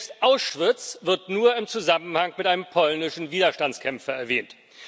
Selbst Auschwitz wird nur im Zusammenhang mit einem polnischen Widerstandskämpfer erwähnt.